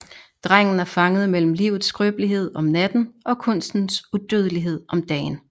Drengen er fanget mellem livets skrøbelighed om natten og kunstens udødelighed om dagen